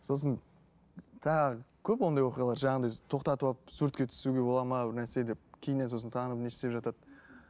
сосын тағы көп ондай оқиғалар жаңағындай тоқтатып алып суретке түсуге болады ма бір нәрсе деп кейіннен сосын танып не істеп жатады